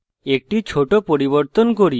একটি ছোট পরিবর্তন করি